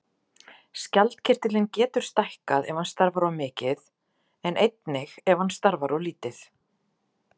Skjaldkirtillinn getur stækkað ef hann starfar of mikið en einnig ef hann starfar of lítið.